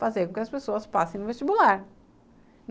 Fazer com que as pessoas passem no vestibular.